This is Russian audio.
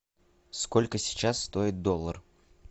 сколько сейчас стоит доллар